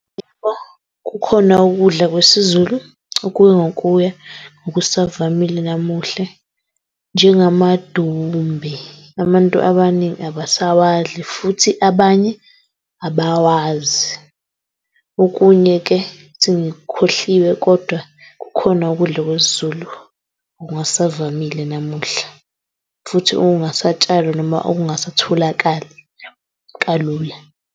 Yebo, kukhona ukudla kwesiZulu okuya ngokuya okusavamile namuhle, njengamadumbe. Abantu abaningi abasawadli futhi abanye abawazi. Okunye-ke sengikukhohliwe kodwa kukhona ukudla kwesiZulu okungasavamile namuhla futhi okungasatshalwa noma okungasatholakali kalula.